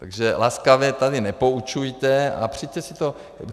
Takže laskavě tady nepoučujte a přijďte si to...